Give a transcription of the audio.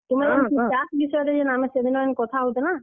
ଆମେ ଯେନ୍ ଚାଷ୍ ବିଷୟରେ ସେ ଦିନ ଯେନ୍ କଥା ହଉଥିଲାଁ।